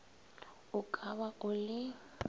o ka ba o le